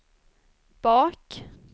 bak